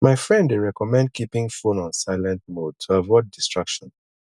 my friend dey recommend keeping phone on silent mode to avoid distractions